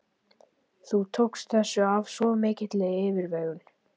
Þú tókst þessu af svo mikilli yfirvegun.